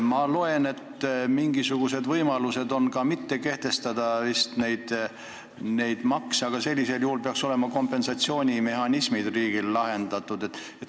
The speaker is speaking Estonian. Ma saan aru, et on ka mingisugune võimalus mitte kehtestada neid makse, aga sellisel juhul peaks riigil olema kompensatsioonimehhanismide küsimus lahendatud.